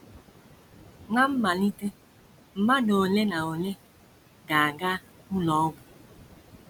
Ná mmalite mmadụ ole na ole ga - aga ụlọ ọgwụ.